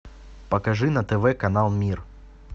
покажи на тв канал мир